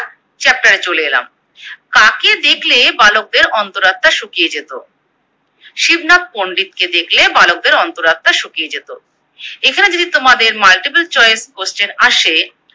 Chapter এ চলে এলাম। কাকে দেখলে বালকদের অন্তরাত্মা শুকিয়ে যেত? শিবনাথ পন্ডিতকে দেখলে বালকদের অন্তরাত্মা শুকিয়ে যেত। এখানে যদি তোমাদের Multiple choice question আসে